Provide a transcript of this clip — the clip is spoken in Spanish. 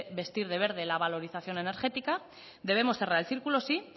vestir de verde la valorización energética debemos cerrar el círculo sí